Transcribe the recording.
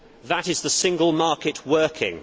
That is the single market working.